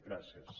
gràcies